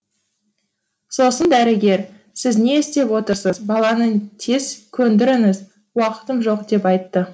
сосын дәрігер сіз не істеп отырсыз баланы тез көндіріңіз уақытым жоқ деп айтты